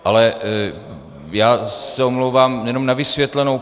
Ale já se omlouvám, jenom na vysvětlenou.